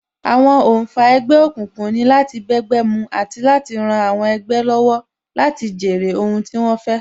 Àwọn oǹfà ẹgbẹ́ òkùnkùn ni láti bẹ́gbẹ́ mu àti láti ran àwọn ẹgbẹ́ lọ́wọ́ láti jèrè ohun tí wón fẹ́